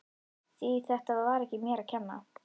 Því þetta var ekki mér að kenna.